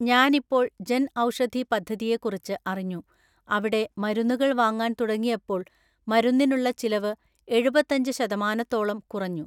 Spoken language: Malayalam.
ഞാനിപ്പോള്‍ ജന്‍ ഔഷധി പദ്ധതിയെക്കുറിച്ച് അറിഞ്ഞു, അവിടെ മരുന്നുകള്‍ വാങ്ങാന്‍ തുടങ്ങിയപ്പോള്‍ മരുന്നിനുള്ള ചിലവ് എഴുപത്തഞ്ച് ശതമാനത്തോളം കുറഞ്ഞു.